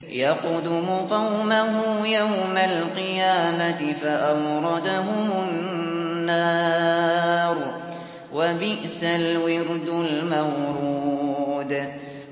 يَقْدُمُ قَوْمَهُ يَوْمَ الْقِيَامَةِ فَأَوْرَدَهُمُ النَّارَ ۖ وَبِئْسَ الْوِرْدُ الْمَوْرُودُ